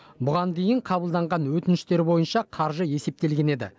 бұған дейін қабылданған өтініштер бойынша қаржы есептелген еді